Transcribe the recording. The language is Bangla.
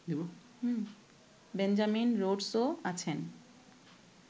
বেঞ্জামিন রোডসও আছেন